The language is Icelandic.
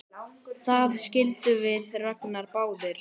Það skildum við Ragnar báðir!